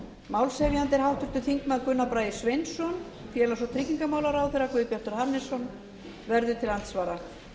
er háttvirtir þingmenn gunnar bragi sveinsson félags og tryggingamálaráðherra guðbjartur hannesson verður til andsvara